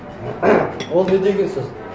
ол не деген сөз